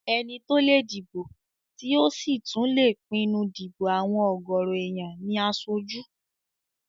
Ẹni tó lè dìbò tí ò sì tún lè pinnu dípò àwọn ọ̀gọ̀rọ̀ èèyàn ní aṣojú